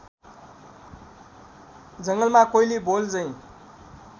जङ्गलमा कोइली बोलझै